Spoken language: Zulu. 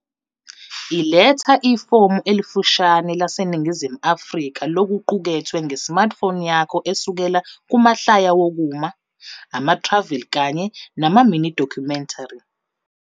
Iletha ifomu elifushane laseNingizimu Afrika lokuqukethwe nge-smartphone yakho esukela kumahlaya wokuma, ama-travel kanye nama-mini-documentary.